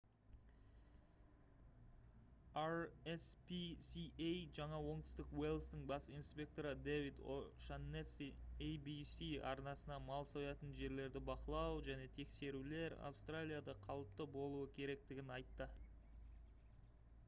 rspca жаңа оңтүстік уэльстің бас инспекторы дэвид о'шаннесси abc арнасына мал соятын жерлерді бақылау және тексерулер австралияда қалыпты болуы керектігін айтты